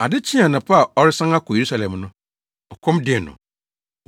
Ade kyee anɔpa a ɔresan akɔ Yerusalem no, ɔkɔm dee no.